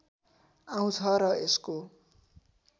आउँछ र यसको